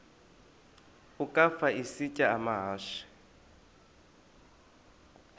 ukafa isitya amahashe